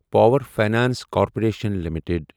power finance corporation limited